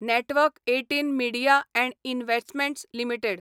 network १८ media & investments limited